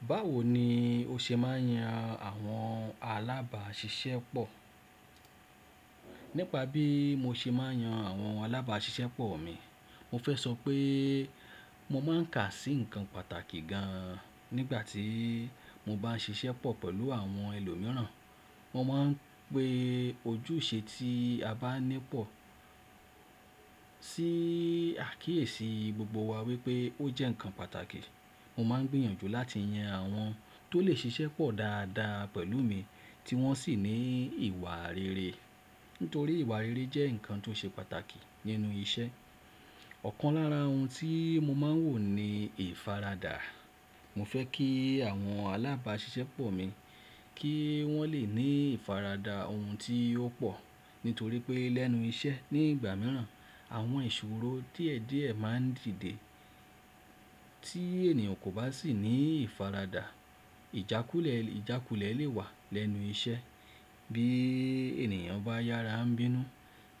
Báwo ni o ṣe máa ń yan àwọn alábàáṣiṣẹ́ pọ̀? Nípa bí mo ṣe máa ń yan àwọn alábàáṣiṣẹ́ pọ̀ mi, mo fẹ́ sọ pé mo máa ń kà sí ǹkan pàtàkì gan an nígbà tí mo bá ń ṣiṣẹ́ pọ̀ pẹ̀lú àwọn ẹlòmíràn. Mo máa ń pe ojúṣe tí a bá ní pọ̀ sí àkíyèsí gbogbo wa wípé ó jẹ́ ǹkan pàtàkì. Mo máa ń gbìyànjú láti yan àwọn tó lè ṣiṣẹ́ pọ̀ dáadáa pẹ̀lú mi tí wọ́n sì ní ìwà rere. Nítorí ìwà rere jẹ́ ǹkan tó ṣe pàtàkì nínú iṣẹ́. Ọ̀kan lára ohun tí mo máa ń wò ni ìfaradà. Mo fẹ́ kí àwọn alábàáṣiṣẹ́ pọ̀ mi kí wọ́n lè ní ìfaradà ohun tí ó pọ̀. Nítorí pé lẹ́nu iṣẹ́ nígbà mìíràn àwọn ìṣòro díẹ̀ díẹ̀ máa ń dìde tí ènìyàn kò bá sì ní ìfaradà, ìjákulẹ̀ lè wà lẹ́nu iṣẹ́ bí ènìyàn bá yára ń bínú